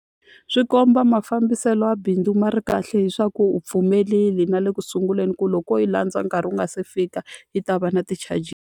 Swi komba mafambiselo ya bindzu ma ri kahle hi swa ku u pfumerile na le ku sunguleni ku loko ko yi landza nkarhi wu nga se fika, yi ta va na ti-charges.